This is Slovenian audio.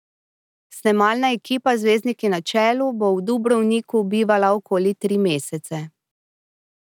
Snemalna ekipa z zvezdniki na čelu bo v Dubrovniku bivala okoli tri mesece.